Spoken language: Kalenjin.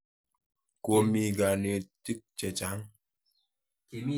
Komi kanetik che chang'.